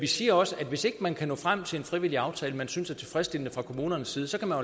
vi siger også at hvis ikke man kan nå frem til en frivillig aftale som man synes er tilfredsstillende fra kommunernes side så kan man